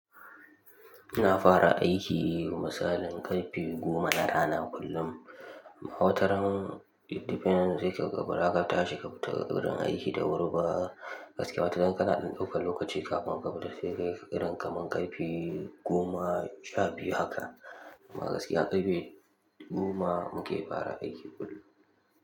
Ina fara aiki, misalin karfe goma na rana kullum. Amma wataran, it depends sai kaga baraka tashi ka tafi gurin aiki da wuri ba. Gaskiya wataran, kana dan ɗaukan lokaci kafin ka fita, sai dai irin ka man karfe goma sha biyu haka. Amma gaskiya karfe goma muke fara aiki kullum.